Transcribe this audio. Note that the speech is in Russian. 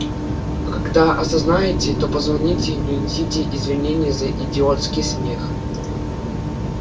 когда осознаете то позвоните и принесите извинения за идиотский смех